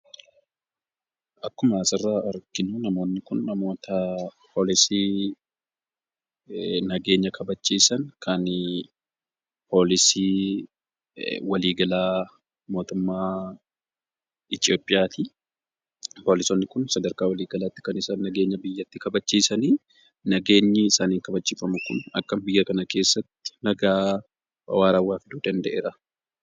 Akkuma asirraa arginuu, namoonni Kun , namoota poolisii nageenya kabachiisan kan polisii walii galaa mootummaa itiyoophiyaati. Poolisoonni kun sadarkaa walii galaatti kan isaan nageenya biyyattii kabachiisanii, nageenyi isaaniin kabachiifamu Kun akka biyya kana keessatti nagaa waarawaa fiduu danda'eeraa